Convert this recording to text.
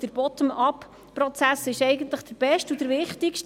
Der «Bottom upProzess» ist eigentlich der Beste und Wichtigste.